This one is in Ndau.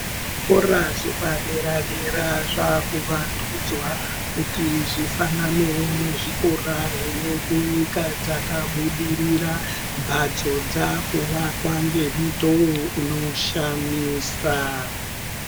Zvikora zvepadera dera zvaakuvandudzwa kuti zvifananewo nezvikora zvine kunyika dzakabudirira mbatso dzaakuvakwa ngemutowo unoshamisa.